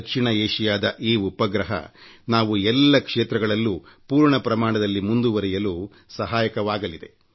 ದಕ್ಷಿಣ ಏಷಿಯಾದ ಈ ಉಪಗ್ರಹ ನಾವು ಎಲ್ಲ ಕ್ಷೇತ್ರಗಳಲ್ಲೂ ಪೂರ್ಣಪ್ರಮಾಣದಲ್ಲಿ ಮುಂದುವರೆಯಲು ಸಹಾಯಕವಾಗಲಿದೆ